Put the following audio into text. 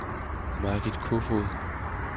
Margit Kofod